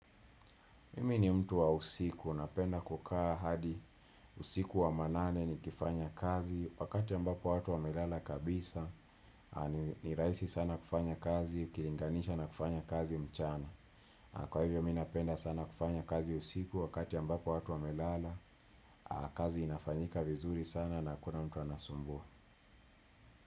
Mimi ni mtu wa usiku, napenda kukaa hadi usiku wa manane nikifanya kazi, wakati ambapo watu wamelala kabisa, ni rahisi sana kufanya kazi, ukilinganisha na kufanya kazi mchana. Kwa hivyo mimi napenda sana kufanya kazi usiku wakati ambapo watu wamelala, kazi inafanyika vizuri sana na hakuna mtu anasumbua.